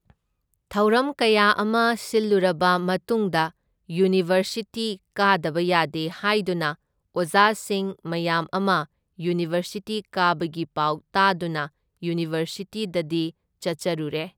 ꯊꯧꯔꯝ ꯀꯌꯥ ꯑꯃ ꯁꯤꯜꯂꯨꯔꯕ ꯃꯇꯨꯡꯗ ꯌꯨꯅꯤꯚꯔꯁꯤꯇꯤ ꯀꯥꯗꯕ ꯌꯥꯗꯦ ꯍꯥꯏꯗꯨꯅ ꯑꯣꯖꯥꯁꯤꯡ ꯃꯌꯥꯝ ꯑꯃ ꯌꯨꯅꯤꯚꯔꯁꯤꯇꯤ ꯀꯥꯕꯒꯤ ꯄꯥꯎ ꯇꯥꯗꯨꯅ ꯌꯨꯅꯤꯚꯔꯁꯤꯇꯤꯗꯗꯤ ꯆꯠꯆꯔꯨꯔꯦ꯫